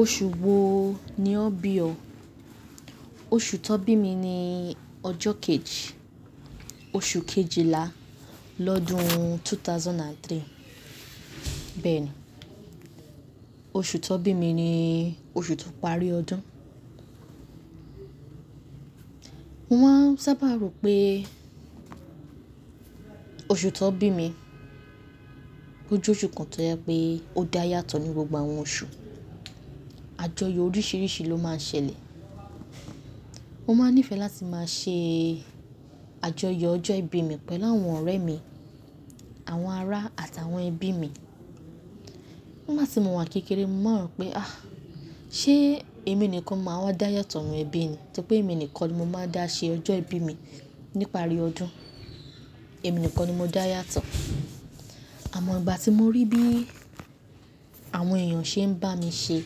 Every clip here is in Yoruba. Oṣù wo ni ọ bí o? Oṣù tó bí mi ni ọjọ kejì, oṣù Kejìlá lọ́dún 2003. Bẹ́ẹ̀ni, oṣù tó bí mi ni oṣù tó parí ọdún. Mo máa ń sábà rò pé oṣù tó bí mi ójo oṣù kan tó jẹ́ pé ó dá yàtọ̀ ní gbogbo àwọn oṣù. Àjọyọ̀ oríṣìíríṣìí ló máa ń ṣẹlẹ̀. Mo máa ń nífẹ̀ẹ́ láti máa ṣe àjọyọ̀ ọjọ́ ìbí mi pẹ̀lú àwọn ọ̀rẹ́ mi, àwọn ará àti àwọn ẹbí mi. Ni gba tì mọ̀ wà kékeré, mo maa n rọ̀ pé ah! Ṣé èmi nìkan máa wá dá yàtọ̀ nínú ẹbí ni torí pé èmi nìkan ni mo máa dá ṣe ọjọ́ ìbí mi nípa àrí ọdún. Èmi nìkan ni mo dá yàtọ̀. Àmọ́ ìgbà tí mo rí bí àwọn èèyàn ṣe ń bá mi ṣe,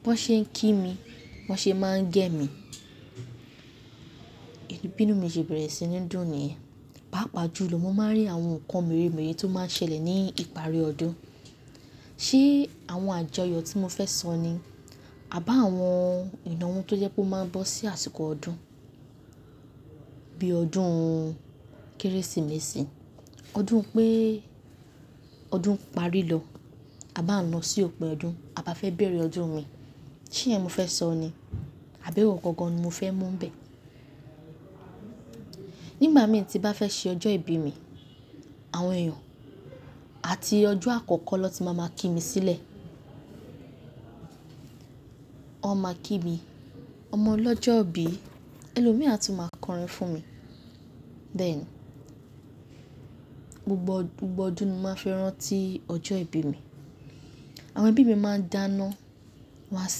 bí wọ́n ṣe ń kí mi, bí wọ́n ṣe máa gẹ́ mi, bínú mi ṣe bẹ̀rẹ̀ sí ní dùn niyen. Paápa ju lọ, mo máa ń rí àwọn nǹkan mèremère tó máa ń ṣẹlẹ̀ ní ìparí ọdún. Ṣé àwọn àjọyọ̀ tí mo fẹ́ sọ ni? Àba àwọn ìnáwó tó jẹ́ pé ó máa ń bọ́ sí àsìkò ọdún bí ọdún Kérésìmesì, ọdún pé ọdún ń parí lọ, a bá ń lọ sí òpin ọdún, a bá fẹ́ bẹ̀rẹ̀ ọdún mìí. Ṣé ìyẹn mo fẹ́ sọ ni? Àbẹ̀wò gangan ni mo fẹ́ mú n bẹ̀. Nígbà mìí tí bá fẹ́ ṣe ọjọ́ ìbí mi, àwọn èèyàn àti ọjọ́ àkọ́kọ́ ló ti máa máa kí mi sílẹ̀. Wọ́n máa kí mi, "Ọmọ ọlọ́jọ́ bí," ẹlòmíì á tún máa kọrin fún mi. Bẹ́ẹ̀ni, gbogbo ọdún ni mo máa fi rántí ọjọ́ ìbí mi. Àwọn ẹbí mi máa n dáná, wọ́n á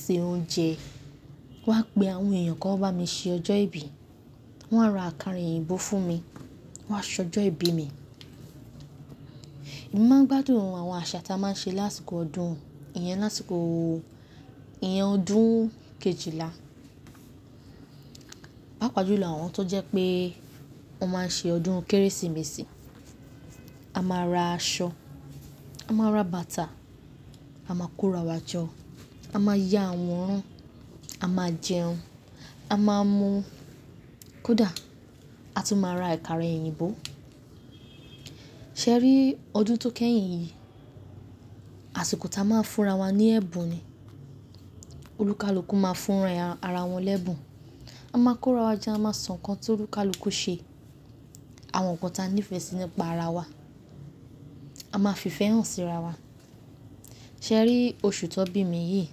se oúnjẹ, wọ́n á pe àwọn èèyàn kí wọ́n bá mi ṣe ọjọ́ ìbí. Wọn á ra àkàrà òyìnbó fún mi, wọ́n á ṣọjọ́ ìbí mi. Èmi máa ń gbádùn àwọn àṣà tí a máa ń ṣe lásìkò ọdún. Ìyẹn lásìkò, ìyẹn ọdún Kejìlá. Paápa ju lọ àwọn tó jẹ́ pé wọ́n máa ń ṣe ọdún Kérésìmesì. A máa ra aṣọ, a máa ra bàtà, a máa kó ra wá jọ, a máa ya àwọran, a máa jẹun, a máa mú kóda, a tún máa ra àkàrà òyìnbó. Ṣé ẹ rí ọdún tó kẹ́yìn yìí, àsìkò tí a máa ń fúnra wa ní ẹ̀bùn ni. Olùkálùkù máa ń fúnra ara wọn lẹ́bùn. A máa kó ra wá jẹ́, a máa sọ nǹkan tí olùkálùkù ṣe, àwọn nǹkan tí a ní ìfẹ́ sí nípa ara wa. A máa fi ìfẹ́ hàn sí ara wa. Ṣé ẹ rí oṣù tó bí mi yìí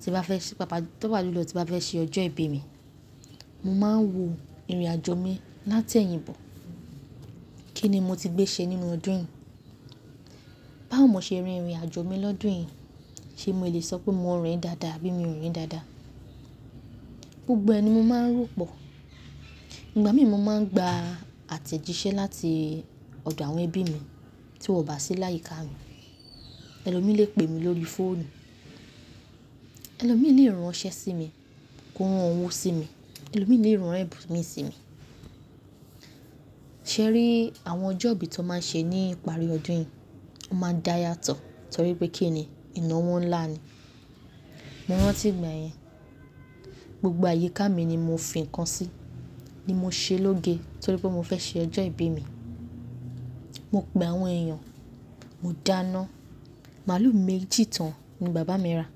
tí bá fẹ́ ṣe, paápa ju lọ tí bá fẹ́ ṣe ọjọ́ ìbí mi, mo máa ń wo ìrìnàjò mi láti ẹ̀yìn bọ̀. Kí ni mo ti gbé ṣe nínú ọdún yìí? Báwo mo ṣe rìn ìrìnàjò mi lọ́dún yìí, ṣe mo lè sọ pé mo rìn dáadáa abí mi ò rìn dáadáa? Gbogbo ẹ ni mo máa ń rò pọ̀. Ìgbà mìí mo máa ń gba àtẹ̀jíṣẹ́ láti ọ̀dọ̀ àwọn ẹbí mi tí wọ́n ò bá sí láyìí ká mi. Ẹlòmíì lè pè mi lórí fóònù, ẹlòmíì lè rán iṣẹ́ sí mi, kó rán owó sí mi, ẹlòmíì lè rán ẹ̀bùn mi sí mi. Ṣé ẹ rí àwọn ọjọ́ ibí i tó máa ń ṣe ní ìparí ọdún yìí? Ó máa ń dá yàtọ̀ torí pé kí ni, ìnáwó ńlá ni. Mo rántí ìgbà yẹn, gbogbo àyíká mi ni mo fìnkàn sí, ní mo ṣe lóge torí pé mo fẹ́ ṣe ọjọ́ ìbí mi. Mo pe àwọn èèyàn, mo dáná. Màlúù méjì tán ni bàbá mi ra.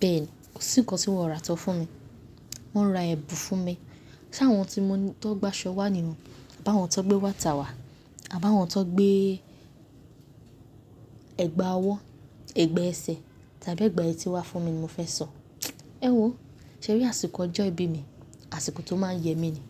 Bẹ́ẹ̀ni, kò sí nǹkan tí wọ́n ò ra tán fún mi. Wọn ra ẹ̀bùn fún mi, sáwọn tí mo ní tó gbaṣọ wà ní, bá àwọn tó gbé wàtà wà, àbá àwọn tó gbé ẹ̀gbà ọwọ́, ẹ̀gbà ẹsẹ̀ tàbí ẹ̀gbà etí wà fún mi ni mo fẹ́ sọ. Ẹ̀wọ̀, ṣé ẹ rí àsìkò ọjọ́ ìbí mi, àsìkò tó máa ń yẹ mí ni?